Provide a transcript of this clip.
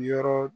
Yɔrɔ